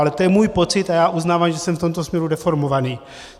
Ale to je můj pocit a já uznávám, že jsem v tomto směru deformovaný.